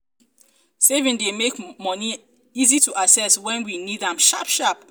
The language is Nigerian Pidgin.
savings dey make money easy to access for when we need am sharp sharp